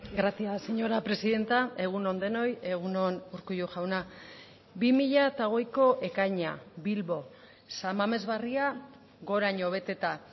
gracias señora presidenta egun on denoi egun on urkullu jauna bi mila hogeiko ekaina bilbo san mames barria goraino beteta